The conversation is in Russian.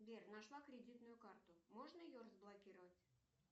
сбер нашла кредитную карту можно ее разблокировать